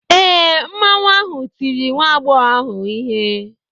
Ee, Mmanwu ahụ tiri nwa agbọghọ ahụ ihe.